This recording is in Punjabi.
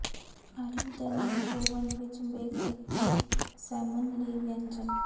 ਆਲੂ ਦੇ ਨਾਲ ਓਵਨ ਵਿੱਚ ਬੇਕ ਕੀਤੀ ਸੈਮਨ ਲਈ ਵਿਅੰਜਨ